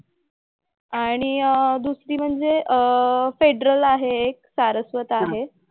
आणि दुसरी म्हणजे अह फेडरल आहे एक. सारस्वत आहे.